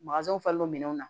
falennan na